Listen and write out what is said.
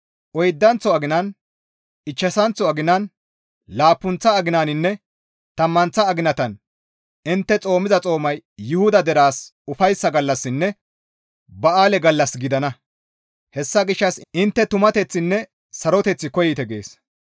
«Oydanththo aginan, ichchashanththo aginan, laappunththa aginaninne tammanththa aginan intte xoomiza xoomay Yuhuda deraas ufayssa gallassinne ba7aale gallas gidana; hessa gishshas intte tumateththinne saroteth koyite.»